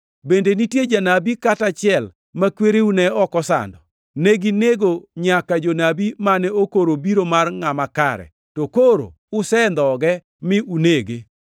Bende nitie janabi kata achiel ma kwereu ne ok osando? Neginego nyaka jonabi mane okoro biro mar Ngʼama Kare. To koro usendhoge mi unege.